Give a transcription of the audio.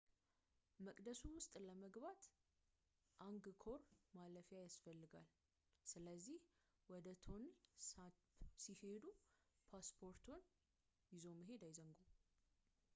መቅደሱ ውስጥ ለመግባት አንግኮር ማለፊያ ያስፈልጋል ስለዚህ ወደ ቶንል ሳፕ ሲሄዱ ፖስፖርትዎን ይዞ መሄድ አይዘንጉ